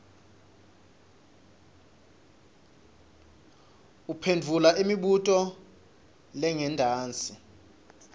uphendvula imibuto lengentasi